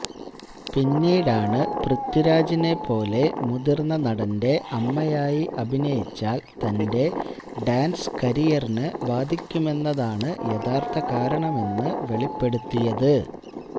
പിന്നീടാണ് പൃഥ്വിരാജിനേപ്പോലെ മുതിര്ന്ന നടന്റെ അമ്മയായി അഭിനയിച്ചാല് തന്റെ ഡാന്സ് കരിയറിന് ബാധിക്കുമെന്നതാണ് യഥാര്ത്ഥ കാരണമെന്ന് വെളിപ്പെടുത്തിയത്